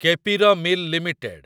K P R mill limited